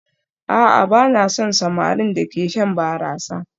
A'a ba na son samarin da ke shan barasa